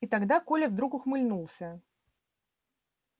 и тогда коля вдруг ухмыльнулся